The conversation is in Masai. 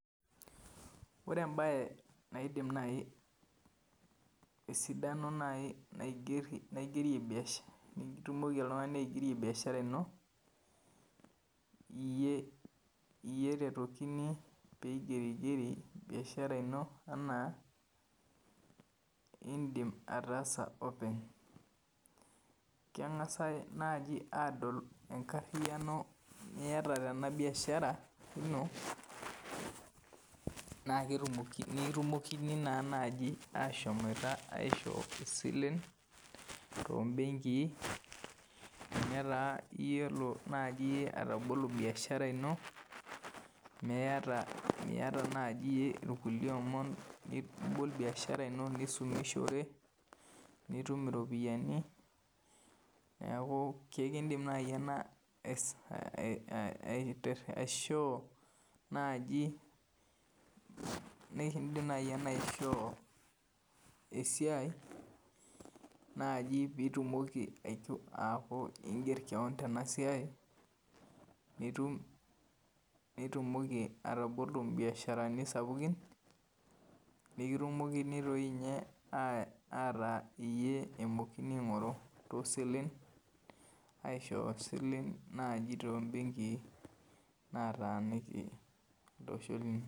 Ore embaye naidim naaji esidano nitumoki oltung'ani aigerie biashara ino iyie eretokini piingeriger biashara ino enaa indiim ataasa openy keng'asi naaji aadol enkariano niata tena biashara ino naa ketumoki naanaji ashomi aishoo isilen toombenkii tenaa iyiolo atabolu biashara ino miata naaji iyie kulie omon nibol biashara ino nishumishore nitum iropiyiani neeku kekindiim naji ena aishoo naaji nikindim naaji ena aishoo esiai piitumoki aaku inger kewon tena siai nitumoki atabolo imbiasharani sapukin peekitumokini doi ninye aaku iyie eing'oruni toosilen naaji toobenkii naataniki olosho linyi